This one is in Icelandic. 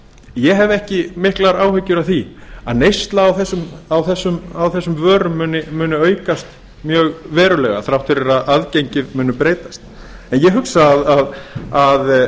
ég hef ekki miklar áhyggjur af því að neysla á þessum vörum muni aukast mjög verulega þrátt fyrir að aðgengi muni breytast en ég hugsa að